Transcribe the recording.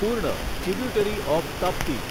પૂર્ણ tributary of Tapti